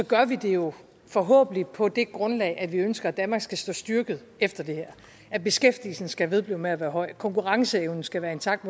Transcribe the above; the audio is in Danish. gør vi det jo forhåbentlig på det grundlag at vi ønsker at danmark skal stå styrket efter det her at beskæftigelsen skal vedblive med at være høj konkurrenceevnen skal være intakt